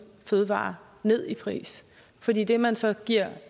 fødevarer ned i pris for det det man så giver